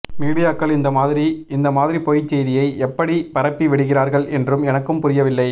மீடியாக்கள் இந்த மாதிரி இந்த மாதிரி பொய் செய்தியை எப்படி பரப்பி விடுகிறார்கள் என்றும் எனக்கு புரியவில்லை